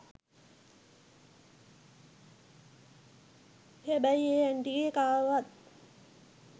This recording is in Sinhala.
හැබැයි ඒ ඇන්ටිගෙ කාවවත්